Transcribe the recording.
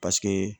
Paseke